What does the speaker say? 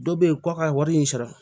Dɔ be yen ko a ka wari in sara